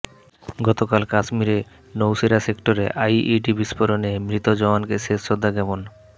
গতকাল কাশ্মীরের নৌশেরা সেক্টরে আইই়ডি বিস্ফোরনে মৃত জওয়ানকে শেষ শ্রদ্ধা জ্ঞাপন